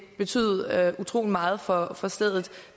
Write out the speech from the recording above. betyde utrolig meget for for stedet